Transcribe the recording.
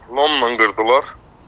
Lomnan qırdılar.